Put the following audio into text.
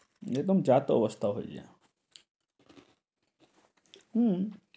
একদম যা তা অবস্থা হয়ে যায় হম